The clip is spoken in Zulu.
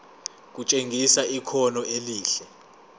kutshengisa ikhono elihle